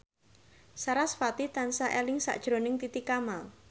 sarasvati tansah eling sakjroning Titi Kamal